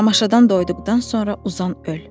Tamaşadan doyduqdan sonra uzan, öl.